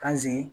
K'an sigi